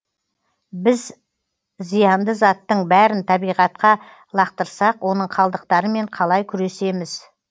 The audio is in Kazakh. біз зиянды заттың бәрін табиғатқа лақтырсақ оның қалдықтарымен қалай күресеміз